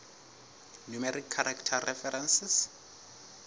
numeric character references